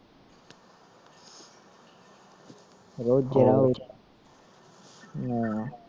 ਅਹ